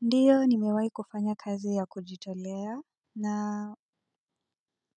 Ndiyo nimewahi kufanya kazi ya kujitolea na